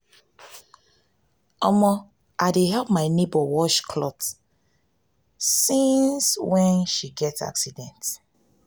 omo i dey help my nebor wash cloth since cloth since when she get accident.